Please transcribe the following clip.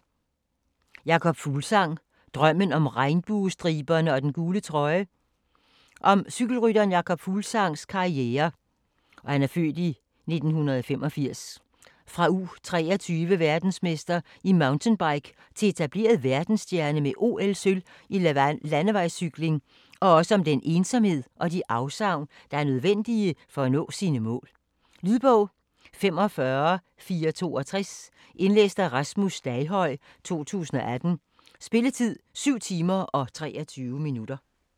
Fuglsang, Jakob: Drømmen om regnbuestriberne og den gule trøje Om cykelrytteren Jakob Fuglsangs (f. 1985) karriere fra U23-verdensmester i mountainbike til etableret verdensstjerne med OL-sølv i landevejscykling, og også om den ensomhed og de afsavn der er nødvendige for at nå sine mål. Lydbog 45462 Indlæst af Rasmus Staghøj, 2018. Spilletid: 7 timer, 23 minutter.